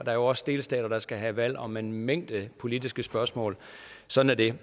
er jo også delstater der skal have valg om en mængde politiske spørgsmål sådan er det